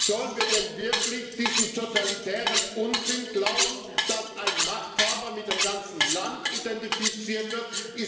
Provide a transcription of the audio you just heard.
Sollen wir denn wirklich diesen totalitären Unsinn glauben, dass ein Machthaber mit dem ganzen Land identifiziert wird?